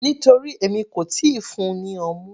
Nítorí èmi kò tíì fún-un ní ọmú.